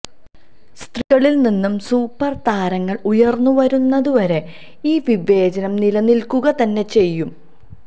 സ്ത്രീകളില് നിന്ന് സൂപ്പര് താരങ്ങള് ഉയര്ന്നുവരുന്നത് വരെ ഈ വിവേചനം നിലനില്ക്കുക തന്നെ ചെയ്യും